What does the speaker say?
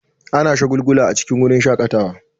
Ana aukuwa a cikin wurin shakatawa.